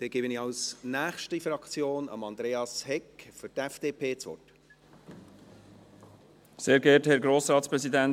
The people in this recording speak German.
Dann gebe ich für die nächste Fraktion, die FDP, Andreas Hegg das Wort.